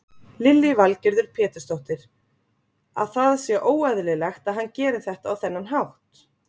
Lillý Valgerður Pétursdóttir: Að það sé óeðlilegt að hann geri þetta á þennan hátt?